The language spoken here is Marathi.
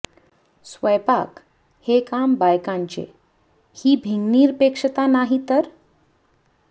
स्वयंपाक हे काम बायकांचे ही भिंगनिरपेक्षता नाही तर